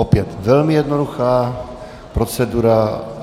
Opět velmi jednoduchá procedura.